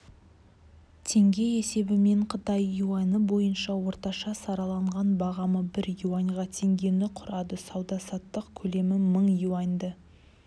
теңге есебімен қытай юані бойынша орташа сараланған бағамы бір юаньға теңгені құрады сауда-саттық көлемі мың юаньді